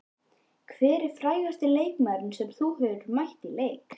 Hver er frægasti leikmaðurinn sem þú hefur mætt í leik?